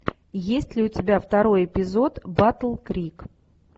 есть ли у тебя второй эпизод батл крик